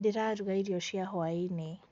ndĩraruga irio cia hwaini